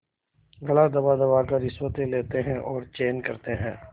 गला दबादबा कर रिश्वतें लेते हैं और चैन करते हैं